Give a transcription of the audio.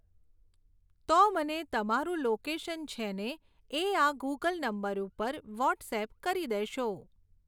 તો મને તમારું લોકેશન છે ને એ આ ગૂગલ નંબર ઉપર વૉટ્સઍપ કરી દેશો